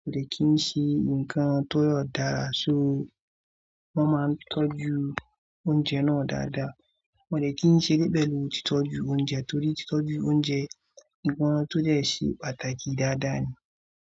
kò dẹ̀ ki n ṣe nkan tó yọ dára. So, wọ́n má n tọ́jú oúnjẹ náà dada. Wọn ò dẹ̀ ki n ṣe eré pẹ̀lú títọ́jú oúnjẹ, nítorí títọ́jú oúnjẹ, nkan tó dẹ̀ ṣe pàtàkì dada ni.